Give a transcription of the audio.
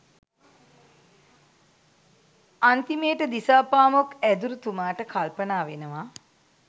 අන්තිමේට දිසාපාමොක් ඇදුරුතුමාට කල්පනා වෙනවා